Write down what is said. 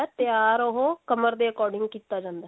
ਤਿਆਰ ਉਹ ਕਮਰ ਦੇ according ਕੀਤਾ ਜਾਂਦਾ